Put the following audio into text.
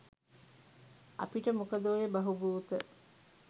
අපිට මොකද ඔය බහුබූත.